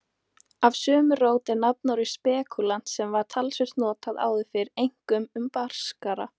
Af sömu rót er nafnorðið spekúlant sem var talsvert notað áður fyrr, einkum um braskara.